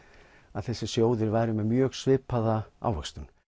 að þessir sjóðir væru með mjög svipaða ávöxtun